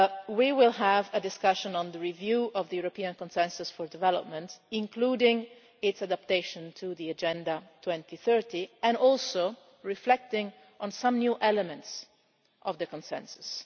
way we will have a discussion on the review of the European Consensus for Development, including its adaptation to the Agenda 2030, and we will reflect on some new elements of the Consensus.